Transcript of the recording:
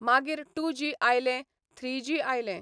मागीर two G आयलें, three G आयलें.